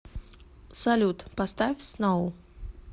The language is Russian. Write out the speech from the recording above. салют поставь сноу